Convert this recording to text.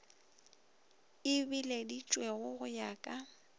e bileditšwego go ya ka